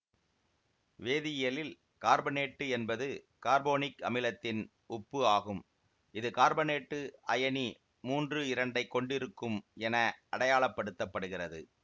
வேதியியலில் carbonate என்பது carbonic அமிலத்தின் உப்பு ஆகும் இது கார்பனேட்டு அயனி மூன்று இரண்டைக் கொண்டிருக்கும் என அடையாளப்படுத்தப்படுகிறது